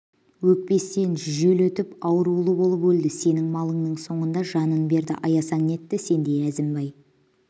өкпесінен жел өтіп аурулы болып өлді сенің малыңның соңында жанын берді аясаң нетті дей әзімбай